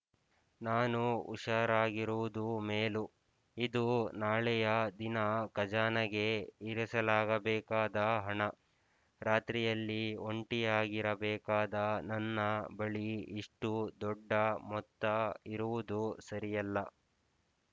ನಾನು ಹುಷಾರಾಗಿರುವುದು ಮೇಲು ಇದು ನಾಳೆಯ ದಿನ ಖಜಾನೆಗೆ ಇರಸಾಲಾಗಬೇಕಾದ ಹಣ ರಾತ್ರಿಯಲ್ಲಿ ಒಂಟಿಯಾಗಿರಬೇಕಾದ ನನ್ನ ಬಳಿ ಇಷ್ಟು ದೊಡ್ಡ ಮೊತ್ತ ಇರುವುದು ಸರಿಯಲ್ಲ